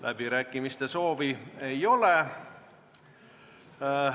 Läbirääkimiste soovi ei ole.